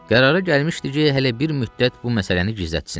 Qərara gəlmişdi ki, hələ bir müddət bu məsələni gizlətsin.